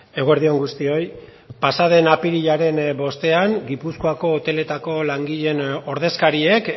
eguerdi on guztioi pasaden apirilaren bostean gipuzkoako hoteletako langileen ordezkariek